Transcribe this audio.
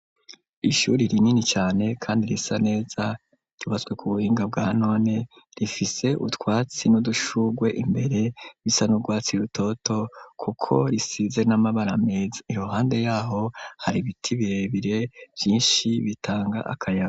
Ishuri ri nini cane, kandi risa neza ribazwe ku buhinga bwa none rifise utwatsi n'udushurwe imbere bisa n'urwatsi rutoto, kuko risize n'amabara meza irohande yaho hari ibiti bebire vyinshi bitanga akayama.